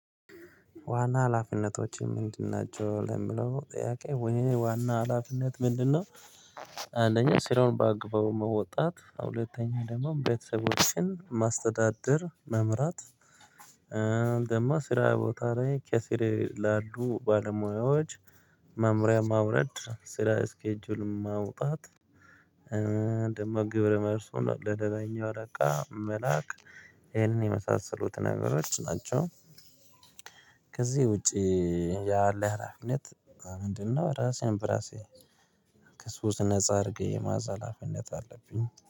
ዋና ሀላፊነቶች ምንድን ናቸው ለሚለው ጥያቄ የኔ ዋና ሀላፊነት ምንድነው? አንደኛ ስራውን በአግባቡ መወጣት ሁለተኛ ደግሞ ቤተሰቦችን ማስተዳደር መምራት። ደግሞ ስራ ቦታ ላይ ከስሬ ላሉ ባለሙያዎች። መመሪያ ማውረድ ስራ ስኬጁል ማውጣት። ደግሞ ግብረ መልሱን ለሌላኛው አለቃ መላክ። ይሄንን የመሳሰሉት ነገሮች ናቸው። ከዚህ ውጪ ያለ ሀላፊነት ምንድነው? ራሴን በራሴ ከሱስ ነፃ አድርጌ የመያዝ ሀላፊነት አለብኝ